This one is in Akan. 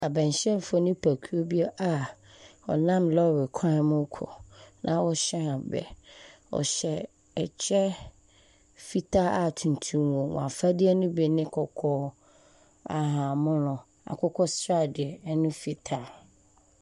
Aban hyiafo nnipakuo bi a wɔnam lɔre kwan mu kɔ. Na wɔhyɛn abɛ. Wɔhyɛ ɛkyɛ fitaa a tuntum wom. Afadeɛ ne bi ne kɔkɔɔ, ahahanmono, akokɔsradeɛ ɛne fitaa.